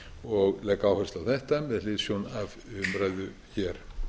og legg áherslu á þetta með hliðsjón af umræðu hér